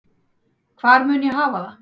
Hvar mun ég hafa það?